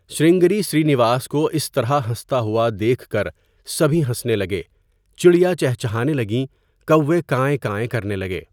سرنگری سرینواس کو اس طرح ہنستا ہوا دیکھ کر سبھی ہنسنے لگے چڑیا چہچہانے لگیں کوے کائیں کائیں کرنے لگے.